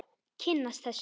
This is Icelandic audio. Kynnast þessu.